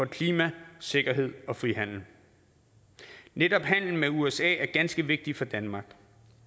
klima sikkerhed og frihandel netop handelen med usa er ganske vigtig for danmark